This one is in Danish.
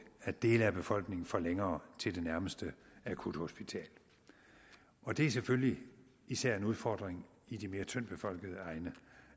at dele af befolkningen får længere til det nærmeste akuthospital og det er selvfølgelig især en udfordring i de mere tyndt befolkede egne